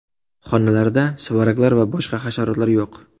Xonalarda suvaraklar va boshqa hasharotlar yo‘q.